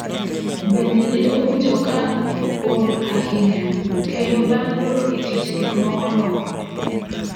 Bende ne owinjo ka ol ahinya, kendo bang’ dok e tich gik moko nolokore.